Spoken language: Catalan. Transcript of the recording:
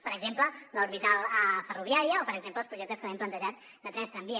per exemple l’orbital ferroviària o per exemple els projectes que li hem plantejat de trens tramvia